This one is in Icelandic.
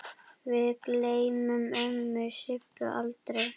Við gleymum ömmu Sibbu aldrei.